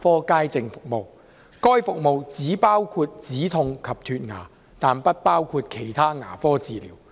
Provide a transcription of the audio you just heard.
該服務只包括止痛及脫牙，但不包括其他牙科治療。